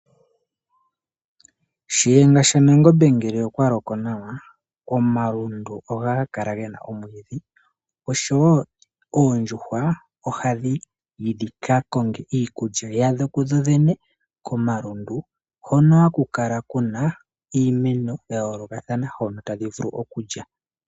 Shiyenga shaNangombe ngele oya loko nawa ,omalundu ohaga kala ge na omwiidhi. Oondjuhwa ohadhi yi dhi ka konge iikulya yadho kudhodhene komalundu hono ha ku kala ku na iimeno ya yoolokathana hono tadhi vulu okulya.